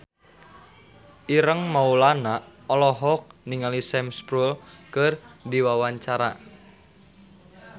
Ireng Maulana olohok ningali Sam Spruell keur diwawancara